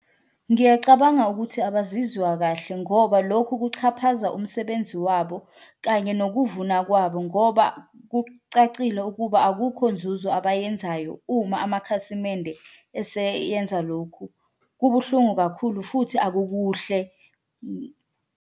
Ngiyacabanga ukuthi abazizwa kahle ngoba lokhu kuxhaphaza umsebenzi wabo kanye nokuvuna kwabo ngoba kucacile ukuba akukho nzuzo abayenzayo, uma amakhasimende eseyenza lokhu kubuhlungu kakhulu futhi akukuhle .